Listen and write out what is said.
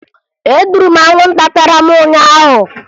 Egburu m anwụnta tara m ụnyaahụ